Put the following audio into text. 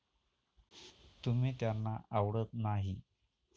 तुम्ही त्यांना आवडत नाही.